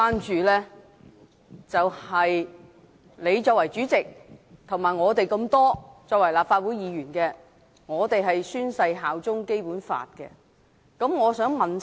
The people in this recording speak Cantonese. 主席，你作為主席，以及我們作為立法會議員，都宣誓效忠《基本法》。